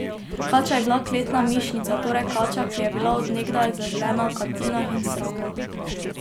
Kača je bila kletna mišnica, torej kača, ki je bila od nekdaj zaželena v kantinah in shrambah.